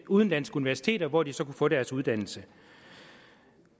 udenlandske universiteter hvor de så kunne få deres uddannelse